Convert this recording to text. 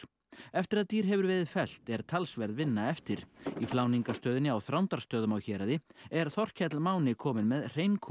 eftir að dýr hefur verið fellt er talsverð vinna eftir í fláningarstöðinni á Þrándarstöðum á Héraði er Þorkell Máni kominn með